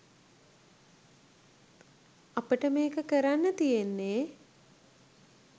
අපට මේක කරන්න තියෙන්නේ